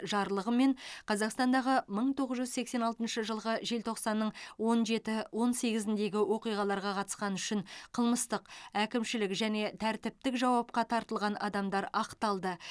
жарлығымен қазақстандағы мың тоғыз жүз сексен алтыншы жылғы желтоқсанның он жеті он сегізіндегі оқиғаларға қатысқаны үшін қылмыстық әкімшілік және тәртіптік жауапқа тартылған адамдар ақталды